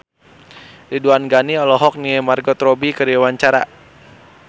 Ridwan Ghani olohok ningali Margot Robbie keur diwawancara